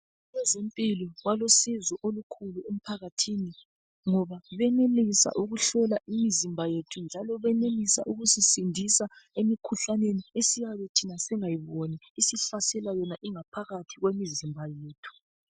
Abezempilo balusizo kakhulu emphakathini ngoba benelisa ngoba benelisa ukuhlola imizimba njalo benelisa ukusisindisa emikhuhlaneni esiyabe thina singayiboni esihlaselayo phakathi kwemizimba yethu.